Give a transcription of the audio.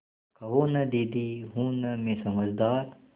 कहो न दीदी हूँ न मैं समझदार